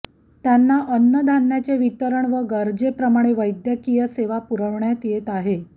त्यांना अन्न धान्याचे वितरण व गरजेप्रमाणे वैद्यकीय सेवा पुरविण्यात येत आहे